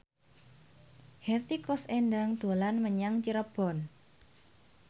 Hetty Koes Endang dolan menyang Cirebon